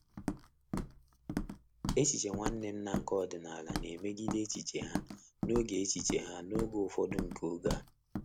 Echiche Nwanne nna nke ọdịnala na-emegide echiche ha n'oge echiche ha n'oge ufọdu nke oge a.